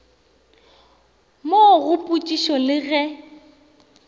mo go potšišišo le ge